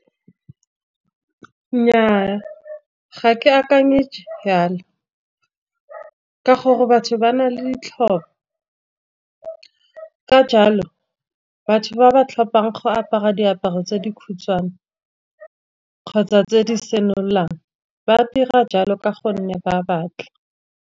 Nnyaa ga ke akanye jalo, ka gore batho ba na le ditlhopho. Ka jalo batho ba ba tlhopang go apara diaparo tse di khutshwane, kgotsa tse di senolang ba dira jalo ka gonne ba batla.